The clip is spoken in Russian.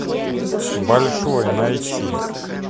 большой найти